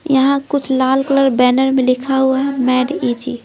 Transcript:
यहां कुछ लाल कलर बैनर में लिखा हुआ है मेड इजी--